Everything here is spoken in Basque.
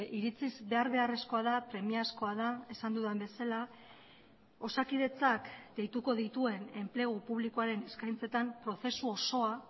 iritziz behar beharrezkoa da premiazkoa da esan dudan bezala osakidetzak deituko dituen enplegu publikoaren eskaintzetan prozesu osoa